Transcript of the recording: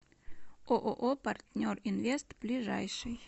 ооо партнер инвест ближайший